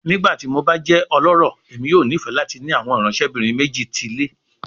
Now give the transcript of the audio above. Nigbati mo ba jẹ ọlọrọ, Emi yoo nifẹ lati ni awọn iranṣẹbinrin meji ti ile